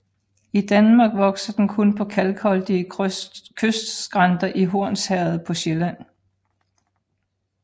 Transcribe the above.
I Danmark vokser den kun på kalkholdige kystskrænter i Hornsherred på Sjælland